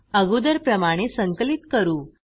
अगोदर प्रमाणे संकलित करू